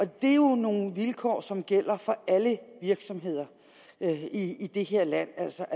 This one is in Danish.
det er jo nogle vilkår som gælder for alle virksomheder i det her land altså